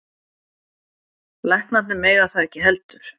Læknarnir mega það ekki heldur.